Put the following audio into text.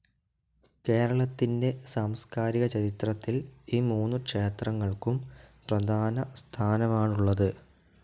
കേരളത്തിൻ്റെ സാംസ്‌കാരിക ചരിത്രത്തിൽ ഈ മൂന്നു ക്ഷേത്രങ്ങൾക്കും പ്രധാന സ്ഥാനമാണുള്ളത്.